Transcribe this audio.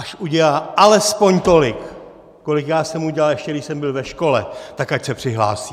Až udělá alespoň tolik, kolik já jsem udělal, ještě když jsem byl ve škole, tak ať se přihlásí!